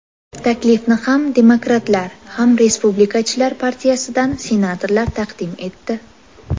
Taklifni ham Demokratlar, ham Respublikachilar partiyasidan senatorlar taqdim etdi.